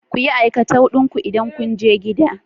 Kuyi aikatau din ku idan kunje gida